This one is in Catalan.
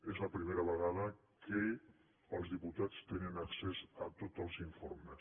és la primera vegada que els diputats tenen accés a tots els informes